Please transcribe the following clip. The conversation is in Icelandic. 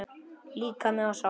Líkami og sál